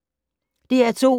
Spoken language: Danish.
DR2